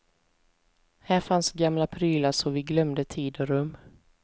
Här fanns gamla prylar så vi glömde tid och rum.